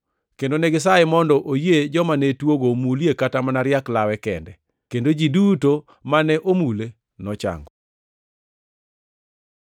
kendo negisaye mondo oyie joma ne tuogo omulie kata mana riak lawe kende, kendo ji duto mane omule nochango.